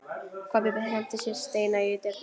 Kobbi henti steini í dyrnar.